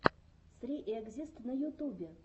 сри экзист на ютубе